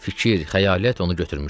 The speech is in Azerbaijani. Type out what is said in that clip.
Fikir, xəyalət onu götürmüşdü.